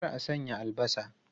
Kar a sanya albasa!